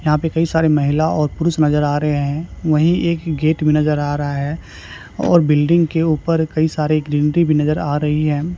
यहां पे कई सारे महिला और पुरुष नजर आ रहे हैं वहीं एक गेट भी नजर आ रहा है और बिल्डिंग के ऊपर कई सारे ग्रीनरी भी नजर आ रही है।